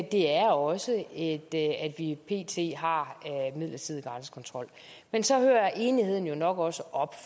det er også at at vi pt har en midlertidig grænsekontrol men så hører enigheden jo nok også op